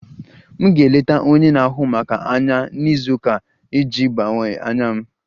M ga-eleta onye na-ahụ maka anya na izu ụka a iji gbanwee anya m